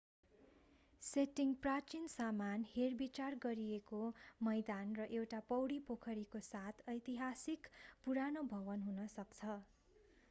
setting प्राचीन सामान हेरविचार गरिएको मैदान र एउटा पौडी पोखरीको साथ ऐतिहासिक पुरानो भवन हुन सक्छ